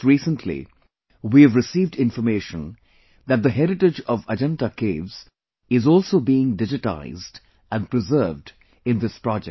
Just recently, we have received information that the heritage of Ajanta caves is also being digitized and preserved in this project